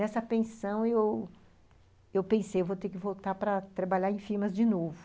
Nessa pensão, eu pensei, eu vou ter que voltar para trabalhar em firmas de novo.